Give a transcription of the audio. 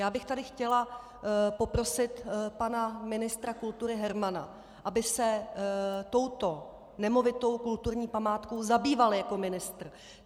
Já bych tady chtěla poprosit pana ministra kultury Hermana, aby se touto nemovitou kulturní památkou zabýval jako ministr.